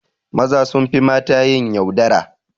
Maza sunfi mata yin yaudara